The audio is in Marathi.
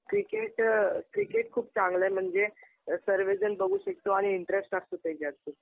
क्रिकेट खूप चांगलं आहे. म्हणजे सर्वेजन बघू शकतो आणि इंटरेस्ट असतो त्याच्यात खूप.